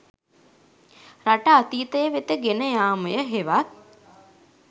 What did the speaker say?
රට අතීතය වෙත ගෙන යාමය හෙවත්